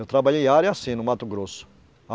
Eu trabalhei área assim no Mato Grosso.